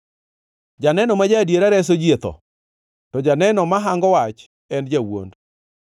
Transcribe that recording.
Janeno ma ja-adiera reso ji e tho, to janeno ma hango wach en jawuond.